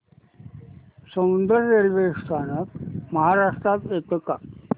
Soundad railway स्थानक महाराष्ट्रात येतं का